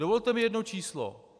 Dovolte mi jedno číslo.